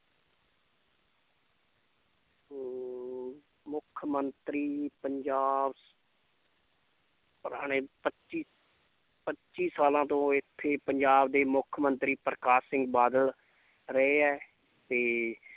ਮੁੱਖ ਮੰਤਰੀ ਪੰਜਾਬ ਪੁਰਾਣੇ ਪੱਚੀ ਪੱਚੀ ਸਾਲਾਂ ਤੋਂ ਇੱਥੇ ਪੰਜਾਬ ਦੇ ਮੁੱਖ ਮੰਤਰੀ ਪ੍ਰਕਾਸ਼ ਸਿੰਘ ਬਾਦਲ ਰਹੇ ਹੈ ਤੇ